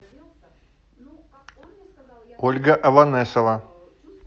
ольга аванесова